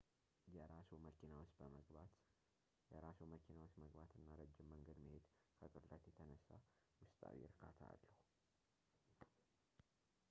የራስዎ መኪና ውስጥ መግባት እና ረጅም መንገድ መሄድ ከቅለት የተነሳ ውስጣዊ እርካታ አለው